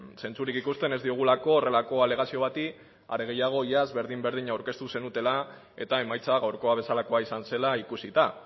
zentzurik ikusten ez diogulako horrelako alegazio bati are gehiago iaz berdin berdina aurkeztu zenutela eta emaitza gaurkoa bezalakoa izan zela ikusita